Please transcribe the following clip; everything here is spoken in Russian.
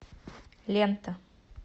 лента